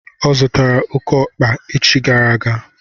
Ọ zụtara oké ọkpa echi gara aga.